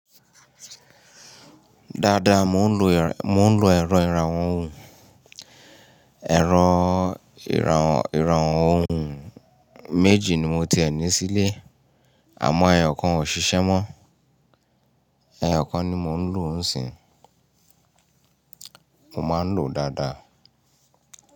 Dáadáa, mò ń lo ẹ̀rọ ìrànwọ́ ohùn. Ẹ̀rọ ìrànwọ́ ohùn méjì ni mo ti ẹ ní sílé àmọ́ ẹyọ̀ kan ò ṣiṣẹ́ mọ́. Ẹyọ̀ kan ni mò ń lò ń sìń, mò máa ń lò ó dáadáa.